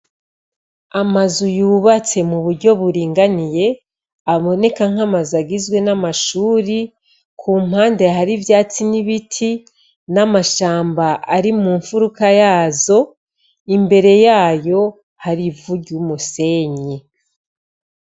Amazu yubatse mu buryo buringaniye aboneka nk'amazu agizwe, n'amashuri kumpande hari ivyatsi n'ibiti n'amashamba ari mu nfuruka yazo imbere yayo hari ivu ry'umusenyi.